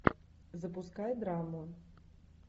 запускай драму